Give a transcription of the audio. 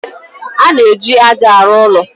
A na-eji ájá arụ ụlọ.